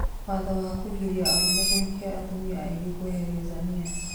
Watho wa kũgiria arũme kũhikia atumia aingĩ kwanĩrerwo Zania